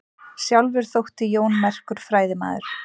Sjálfur þótti Jón merkur fræðimaður.